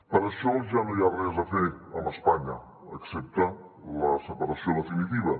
per això ja no hi ha res a fer amb espanya excepte la separació definitiva